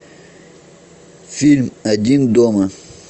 фильм один дома